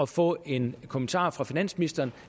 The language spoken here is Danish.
få en kommentar fra finansministeren